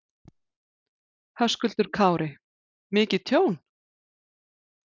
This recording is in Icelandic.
Höskuldur Kári: Mikið tjón?